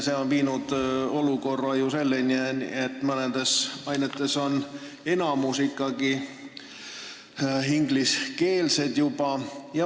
See on viinud ju selleni, et mõnes aines on enamik õppest juba ingliskeelne.